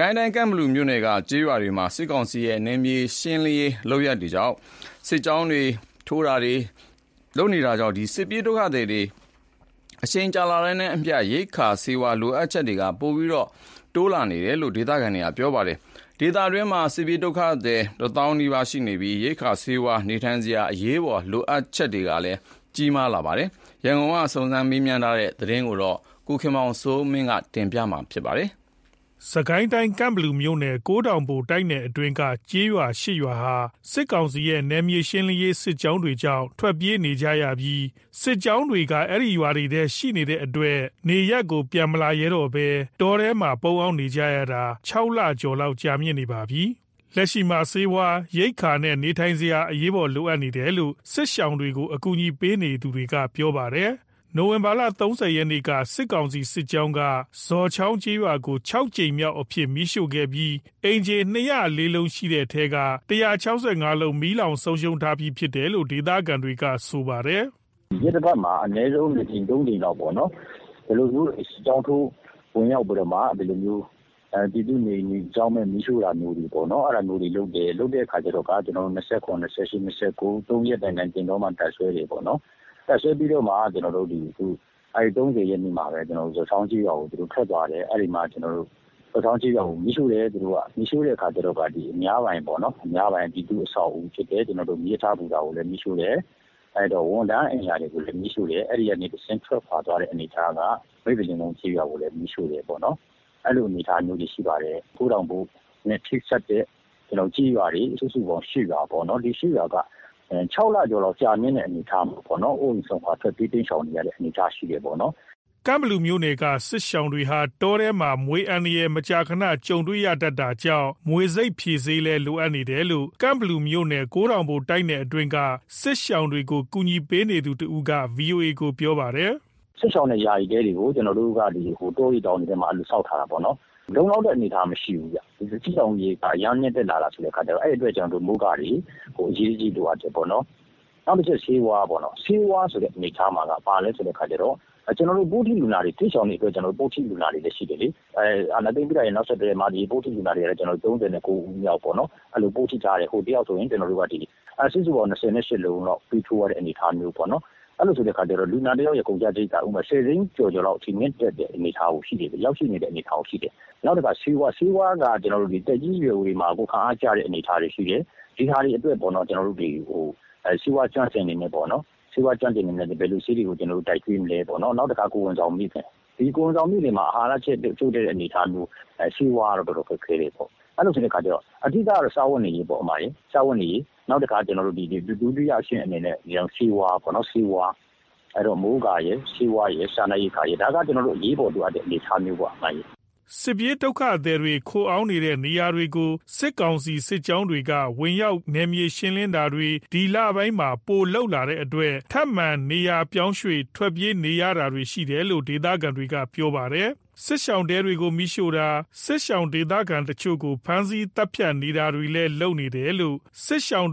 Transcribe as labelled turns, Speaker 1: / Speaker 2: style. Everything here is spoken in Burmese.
Speaker 1: ကိုင်းတိုင်း ကန့်ဘလူမြို့နယ်က ကျေးရွာတွေမှာ စစ်ကောင်စီရဲ့ နယ်မြေရှင်းလင်းရေး စစ်ကြောင်းတွေကြောင့် စစ်ပြေးဒုက္ခသည်တွေမှာ အချိန်ကြာလာတာနဲ့အမျှ ရိက္ခာနဲ့ ဆေးဝါးလိုအပ်ချက်တွေ ပိုများလာနေတယ်လို ဒေသခံတွေက ပြောပါတယ်။ ဒေသတွင်းမှာ စစ်ပြေးဒုက္ခသည် တသောင်းနီးပါးရှိနေပြီး၊ ရိက္ခာ ဆေးဝါးနဲ့ နေထိုင်စရာ အရေးပေါ်လိုအပ်ချက်တွေ တိုးလာနေတာပါ။ ရန်ကုန် စုံစမ်းမေးမြန်းထားတဲ့သတင်း ကိုခင်မောင်စိုးမင်း က ပြောပြပါမယ်။ ကန့်ဘလူမြို့နယ် ကိုးထောင်ဘို့ တိုက်နယ်အတွင်း က ကျေးရွာ ၈ ရွာဟာ စစ်ကောင်စီရဲ့ နယ်မြေရှင်းလင်းရေး စစ်ကြောင်းတွေကြောင့် ထွက်ပြေးနေကြရပြီး၊ စစ်ကြောင်းတွေရှိနေဆဲမို့ ကျေးရွာကို ပြန်မဝင်နိုင်ဘဲ တောထဲမှာ ပုန်းခိုနေကြရတာ ၆ လ ကျော်လောက် ကြာနေပါပြီ။ လက်ရှိမှာ ဆေးဝါး၊ ရိက္ခာနဲ့ နေထိုင်စရာတွေ အရေးပေါ်လိုအပ်နေတယ်လို့ စစ်ရှောင်တွေကို ကူညီပေးနေကြသူတွေက ပြောပါတယ်။ နိုဝင်ဘာ ၃၀ ရက်နေ့က စစ်ကောင်စီ စစ်ကြောင်းက ဇော်ချောင်းကျေးရွာကို ၆ ကြိမ်မြောက်အဖြစ် မီးရှို့ခဲ့ပြီး အိမ်ခြေ ၂၀၄ လုံးရှိတဲ့ထဲက ၁၆၅ လုံး မီးလောင်ဆုံးရှုံးထားပြီးဖြစ်တယ်လို့ ဒေသခံတွေက ဆိုပါတယ်။
Speaker 2: “ ရက်သတ္တပတ်မှာ အနည်းဆုံး ၂ ကြိမ် ၃ ကြိမ်လောက်ပေါ့နော် ။ စစ်ကြောင်းထိုးဝင်ရောက်ပြီးတော့မှ ဒီလိုမျိုး ပြည်သူ့နေအိမ်တွေကို အကြောင်းမဲ့ မီးရှို့တာမျိုးတွေလုပ်တယ်။ လုပ်တဲ့ခါကျတော့ ၂၇၊ ၂၈၊ ၂၉ သုံးရက်တိုင်တိုင် သင်တောမှာ တပ်စွဲတယ်။ တပ်စွဲပြီးတော ၃၀ ရက်နေ့မှာပဲ ဇောချောင်းကျေးရွာကို သူတို့ထွက်သွားတယ်။ ဇော်ချောင်းကျေးရွာကို မီးရှိုတယ် ။ သူတို့က အဲ့ဒီမှာ အများပိုင် ပြည်သူ့အဆောက်အဦးဖြစ်တဲ့ မီးရထားဘူတာကိုလည်း သူတို့က မီးရှို့တယ်။ ဝန်ထမ်းအိမ်ယာတွေကိုလည်း မီးရှို့တယ်။ အဲ့ဒီကနေ တဆင့်ထွက်ခွာသွားပြီးတော့ မိဿလင်ကုန်းရွာကိုလည်း မိးရှို့တယ်ပေါ့နော် ။ ကိုးထောင်ဘို့ နဲ့ ချိတ်ဆက်တဲ့ ကျေးရွာတွေ စုစုပေါင်း ၈ ရွာပေါ့နော် ။ ဒီ ၈ ရွာက ၆ လကျော်လောက် အိုးအိမ်စွန့်ခွာ ထွက်ပြေးနေရတဲ့ အနေအထားရှိတယ်ပေါ့နော် ”
Speaker 1: ကန့်ဘလူနယ်က စစ်ရှောင်တွေဟာ တောထဲမှာ မြွေအန္တရာယ် မကြာခဏ ကြုံတွေ့ရတတ်တာကြောင့် မြွေဆိပ်ဖြေဆေးတွေလည်း လိုအပ်နေတယ်လို့ ကန့်ဘလူမြို့နယ် ကိုးထောင်ဘို့ တိုက်နယ
Speaker 2: ်အတွင်းက စစ်ရှောင်
Speaker 1: တွေကို ကူညီပေးနေသူတစ်ဦးက VOA ကို ပြောပါတယ်။
Speaker 2: “စစ်ရှောင်တဲ့ ယာယီတဲတွေကို ကျွန်တော်တို့က တောတွေ တောင်တွေထဲမှာကျွန်တော်တို့က ဆောက်ထားတာပေါ့နော်။ လုံလောက်တဲ့ အနေအထားမရှိဘူးဗျ၊ စစ်ရှောင် အရေအတွက်က အရမ်းမြင့်တက်လာတာဆိုတော့။ အဲ့အတွက်ကြောင့် မိုးကာတွေ အရေးတကြီး လိုအပ်တယ်ပေါ့နော်။ နောက်တစ်ချက် ဆေးဝါးပေါ့။ ဆေးဝါးဆိုတဲ့ အနေအထားမှာက ဘာလဲဆိုတော့ စစ်ရှောင်တွေအတွက် ကျွန်တော်တို့ ပိုးထိလူနာတွေလည်း ရှိတယ်လေ။ အာဏာသိမ်းပြီးတာရဲ့ နောက်ဆက်တွဲပေါ့၊ ပိုးထိလူနာတွေက ၃၉ ဦးလောက်ပေါ့ အဲလောက် ပိုးထိထားတယ်။ တစ်ယောက်ဆိုရင် မြွေဆိပ်ဖြေဆေး စုစုပေါင်း ၂၈ လုံးလောက် ထိုးရတဲ့ အနေအထားမျိုးပေါ့နော်။ အဲ့လိုဆိုတဲ့ခါကျတော့ လူနာတစ်ယောက်ရဲ့ အနေအထားက ၁၀ သိန်းကျော်ကျော်လောက်ထိကို ကုန်ကျတဲ့ အနေအထားမျိုးရှိတယ်။ နောက်တခါ ဆေးဝါးက သက်ကြီးရွယ်အိုတွေမှာ ကိုယ်ခံအားကျတဲ့ အနေအထားတွေရှိတယ်။ ဒီဟာတွေအတွက် ကျွန်တော်တို့က ဆေးဝါးကျွမ်းကျင်တွေနဲ့ ဘယ်လိုဆေးတွေ ကျွေးမလဲပေါ့၊ နောက်တခါ ကိုယ်ဝန်ဆောင်မိခင် သူတို့တွေမှာ အာဟာရ ချိုု့တဲ့နေတာမျိုး ဆေးဝါးကတော့ အတော်ခက်ခဲတယ်ပေါ့။ အဓိကကတော့ စားဝတ်နေရေးပေါ့၊ ဒုတိယအနေနဲ့ ဆေးဝါးပေါ့။ အဲ့တော့ မိုးကာရယ်၊ စားနပ်ရိက္ခာရယ်၊ ဆေးဝါးရယ်ပေါ့ ၊ ဒါကတော့ အရေးပေါ်လိုအပ်နေတဲ့ အနေအထားပေါ့”
Speaker 1: စစ်ပြေးဒုက္ခသည်တွေ ခိုအောင်းနေရာတွေကို စစ်ကောင်စီစစ်ကြောင်းတွေက ဝင်ရောက် နယ်မြေရှင်းလင်းတာတွေ ဒီလပိုင်းတွေမှာ ပိုလုပ်လာတဲ့အတွက်၊ ထပ်မံ နေရာပြောင်းရွေ့ ထွက်ပြေးကြရတာတွေ ရှိနေတယ်လို့ ဒေသခံတွေကပြောပါတယ်။ စစ်ရှောင်တဲတွေကို မိးရှို့တာ၊ စစ်ရှောင် ဒေသခံတချို့ကို ဖမ်းဆီး သတ်ဖြတ်တာတွေလည်း လုပ်နေတယ်လို့ စစ်ရှောင်